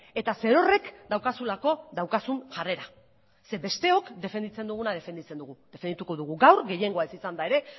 eta zerorrek daukazulako daukazun jarrera zeren besteok defenditzen duguna defenditzen dugu defendituko dugu gaur gehiengoa ez izanda ere